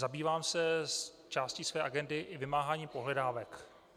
Zabývám se částí své agendy i vymáháním pohledávek.